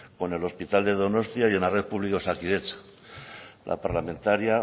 con el hospital de donostia y en la red pública osakidetza la parlamentaria